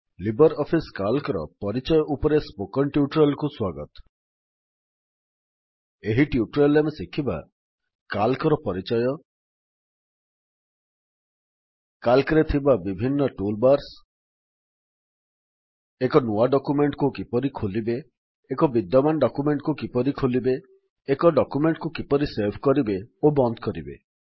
Libre office Calcର ପରିଚୟ ଉପରେ ସ୍ପୋକନ୍ ଟ୍ୟୁଟୋରିଆଲ୍ କୁ ସ୍ୱାଗତ ଏହି ଟ୍ୟୁଟୋରିଆଲ୍ ରେ ଆମେ ଶିଖିବା Calcର ପରିଚୟ Calcରେ ଥିବା ବିଭିନ୍ନ ଟୁଲ୍ ବାର୍ସ ଏକ ନୂଆ ଡକ୍ୟୁମେଣ୍ଟ୍ କୁ କିପରି ଖୋଲିବେ ଏକ ବିଦ୍ୟମାନ ଡକ୍ୟୁମେଣ୍ଟ୍ କୁ କିପରି ଖୋଲିବେ ଏକ ଡକ୍ୟୁମେଣ୍ଟ୍ କୁ କିପରି ସେଭ୍ କରିବେ ଓ ବନ୍ଦ କରିବେ